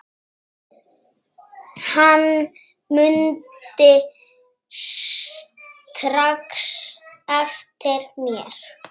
Hann mundi strax eftir mér.